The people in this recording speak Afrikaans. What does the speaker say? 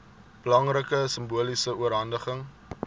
belangrike simboliese oorhandiging